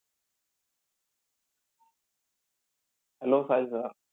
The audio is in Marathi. Hello Sahil sir.